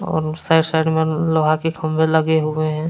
और side side में लोहा के खंभे लगे हुए हैं।